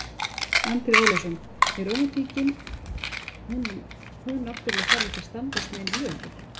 Andri Ólafsson: En rómantíkin hún náttúrulega þarf ekki að standast nein lög er það?